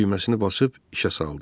Düyməsini basıb işə saldı.